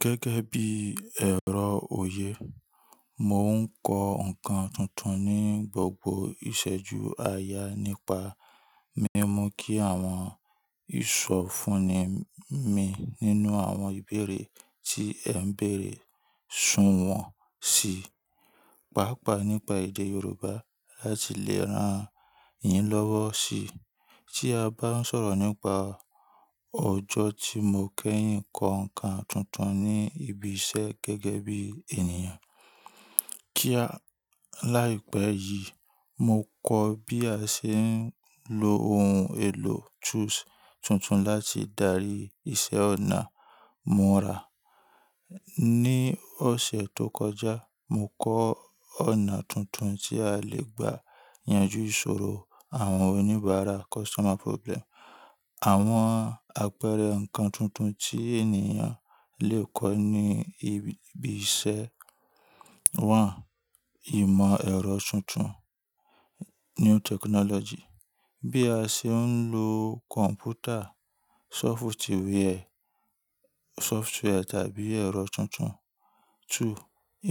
Gẹ́gẹ́ bí ẹ̀rọ òye, mo ń kọ ǹkan tuntun ní gbogbo ìṣẹ́ju aya nípa mímu kí àwọn ìsọ̀fúnni mi nínú àwọn ìbéèrè tí èn bèèrè sùwọ́n si, pàápàá nípa èdè Yorùbá láti lè rán yin lọ́wọ́ si. Tí a bá ń sọ̀rọ̀ nípa ọjọ́ tí mo kẹ́yìn kọ ǹkan tuntun ní ibi iṣẹ́ gẹ́gẹ́ bí ènìyàn, kíá, láìpẹ́ yìí, mo kọ bí a ṣe ń lo ohun èlò tools tuntun láti darí iṣẹ́ ọ̀nà múra. Ni ọ̀sẹ̀ tó kọjá, mo kọ́ ọ̀nà tuntun tí a lè gba yanjú ìṣòro àwọn oníbàárà customer problem. Àwọn àpẹẹrẹ ǹkan tuntun tí ènìyàn lè kọ ní ibi iṣẹ́ wọ́n: ìmọ̀ ẹ̀rọ tuntun new technology, bí a ṣe ń lo kọ̀m̀pútà, sọfútìwẹ́ẹ̀, software tàbí ẹ̀rọ tuntun. Two,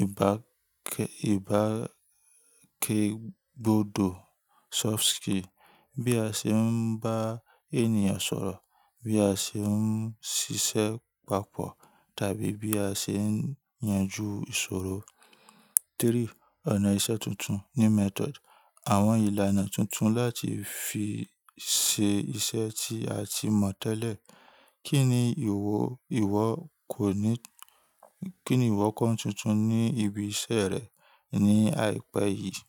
ìbákẹ́gbodò soft skill, bí a ṣe ń bá ènìyàn sọ̀rọ̀, bí a ṣe ń ṣiṣẹ́ papọ̀ tàbí bí a ṣe ń yanjú ìṣòro. Three, ọ̀nà ìṣe tuntun new method, àwọn ìlànà tuntun láti fi ṣe iṣẹ́ tí a ti mọ̀ tẹ́lẹ̀. Kí ni ìwọ, ìwọ kò ní-- kí ni ìwọ kọ ni tuntun ní ibi iṣẹ́ rẹ ní àìpẹ́ yìí?